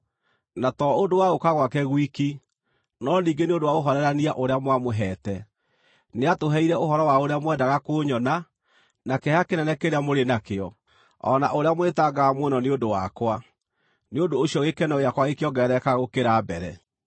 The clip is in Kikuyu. na to ũndũ wa gũũka gwake gwiki, no ningĩ nĩ ũndũ wa ũhoorerania ũrĩa mwamũheete. Nĩatũheire ũhoro wa ũrĩa mwendaga kũnyona, na kĩeha kĩnene kĩrĩa mũrĩ nakĩo, o na ũrĩa mwĩtangaga mũno nĩ ũndũ wakwa; nĩ ũndũ ũcio gĩkeno gĩakwa gĩkĩongerereka gũkĩra mbere.